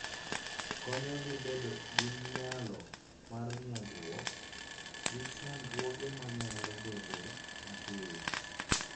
Konyogi bedo gi nyalo mar nyagruok gi chandruoge manyalo bedoe mapiyo.